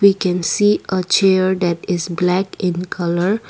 we can see a chair that is black in colour.